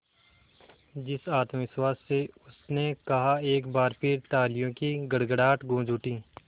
जिस आत्मविश्वास से उसने कहा एक बार फिर तालियों की गड़गड़ाहट गूंज उठी